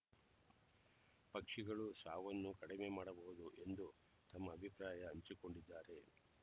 ಪಕ್ಷಿಗಳು ಸಾವನ್ನು ಕಡಿಮೆ ಮಾಡಬಹುದು ಎಂದು ತಮ್ಮ ಅಭಿಪ್ರಾಯ ಹಂಚಿಕೊಂಡಿದ್ದಾರೆ